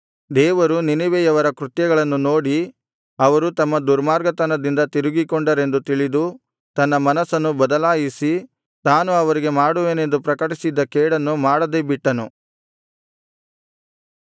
ದೇವರು ನಿನೆವೆಯವರ ಕೃತ್ಯಗಳನ್ನು ನೋಡಿ ಅವರು ತಮ್ಮ ದುರ್ಮಾರ್ಗತನದಿಂದ ತಿರುಗಿಕೊಂಡರೆಂದು ತಿಳಿದು ತನ್ನ ಮನಸ್ಸನ್ನು ಬದಲಾಯಿಸಿ ತಾನು ಅವರಿಗೆ ಮಾಡುವೆನೆಂದು ಪ್ರಕಟಿಸಿದ್ದ ಕೇಡನ್ನು ಮಾಡದೆ ಬಿಟ್ಟನು